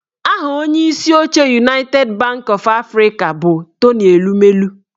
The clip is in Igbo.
Aha onyeisi oche Unaited banki ọf Afrịka bụ Tony Elumelu